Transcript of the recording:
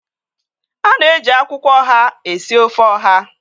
A na-eji akwụkwọ ọha esi ofe ọha